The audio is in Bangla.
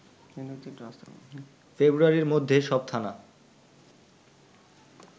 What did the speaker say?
ফেব্রুয়ারির মধ্যে সব থানা